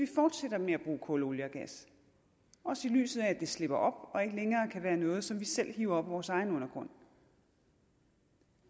fortsætter med at bruge kul olie og gas også i lyset af at det slipper op og ikke længere kan være noget som vi selv hiver op af vores egen undergrund